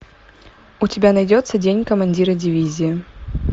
у тебя найдется день командира дивизии